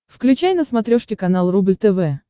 включай на смотрешке канал рубль тв